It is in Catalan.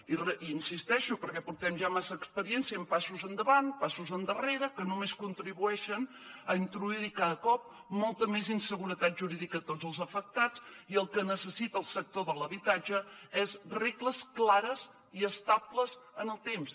i hi insisteixo perquè portem ja massa experiència amb passos endavant passos endarrere que només contribueixen a introduir cada cop molta més inseguretat jurídica a tots els afectats i el que necessita el sector de l’habitatge és regles clares i estables en el temps